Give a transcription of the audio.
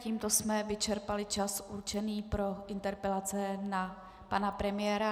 Tímto jsme vyčerpali čas určený pro interpelace na pana premiéra.